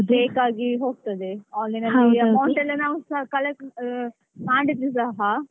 Fake ಆಗಿ ಹೋಗ್ತದೆ online ಅಲ್ಲಿ amount ಎಲ್ಲ ಮಾಡಿದ್ರು ಸಹ.